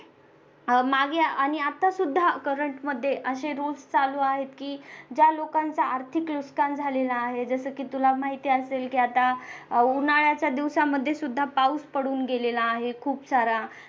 अह मागे आणि आतासुद्धा current मध्ये असे rules चालू आहेत ज्या लोकांच्या आर्थिक नुकसान झालेला आहे जसे की तुला माहिती असेल आता उन्हाळ्याच्या दिवसांमध्ये सुद्धा पाऊस पडून केलेला आहे खूप सारा